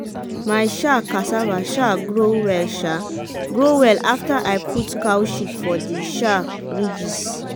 my um cassava um grow well um grow well afta i put cow shit for de um ridges.